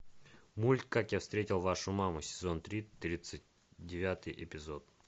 мульт как я встретил вашу маму сезон три тридцать девятый эпизод